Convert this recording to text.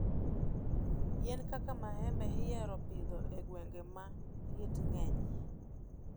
Yien kaka maembe ihinyo pidho e gwenge ma liet ng'enyie.